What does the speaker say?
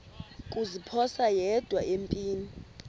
kuziphosa yedwa empini